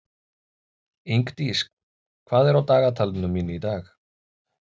Ingdís, hvað er á dagatalinu mínu í dag?